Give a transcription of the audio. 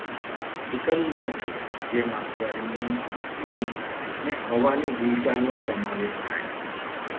એકંદર છે. જેમાં ગરમી, ભેજ અને હવાની હિલચાલનો સમાવેશ થાય છે.